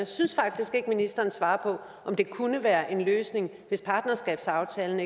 synes faktisk ikke ministeren svarer på om det kunne være en løsning hvis partnerskabsaftalen